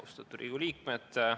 Austatud Riigikogu liikmed!